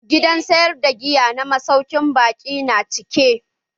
Gidan sayar da giya na masaukin baƙin na cike.